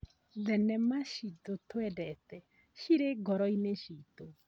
Thenema ciitũ twendete cirĩ ngoro-inĩ ciitũ.